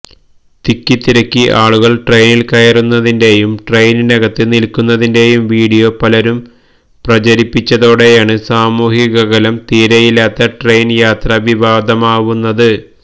തിക്കിത്തിരക്കി ആളുകള് ട്രെയിനില് കയറുന്നതിന്റെയും ട്രെയിനിനകത്ത് നില്ക്കുന്നതിന്റെയും വീഡിയോ പലരും പ്രചരിപ്പിച്ചതോടെയാണ് സാമൂഹ്യഅകലം തീരെയില്ലാത്ത ട്രെയിന് യാത്ര വിവാദമാവുന്നത്